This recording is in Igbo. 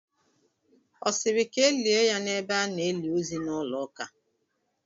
Ọ siri ka elie ya n'ebe a n'eli ozu n'ụlọ ụka?